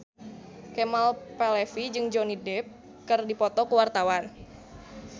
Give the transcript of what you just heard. Kemal Palevi jeung Johnny Depp keur dipoto ku wartawan